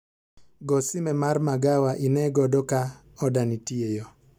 Go sime mar magawa ine godo ka oda nitie eyo